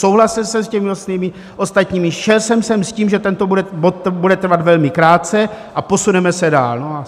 Souhlasil jsem s těmi ostatními, šel jsem sem s tím, že tento bod bude trvat velmi krátce a posuneme se dál.